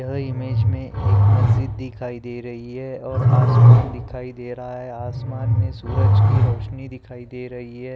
यह इमेज मे एक मस्जिद दिखाई दे रही है और आसमान दिखाई दे रहा है। आसमान मे सूरज की रोशनी दिखाई दे रही है।